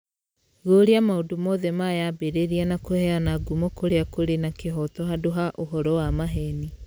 guoria maũndũ mothe ma yambĩrĩria na kũheana ngumo kũrĩa kũrĩ na kĩhooto handũ ha ũhoro wa maheni